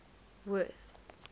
worth